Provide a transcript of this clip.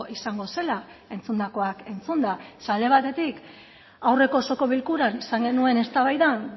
izango zela entzundakoak entzunda ze alde batetik aurreko osoko bilkuran izan genuen eztabaidan